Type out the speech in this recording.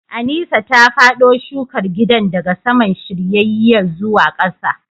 Aneesa ta fado shukar gidan daga saman shiryayye zuwa kasa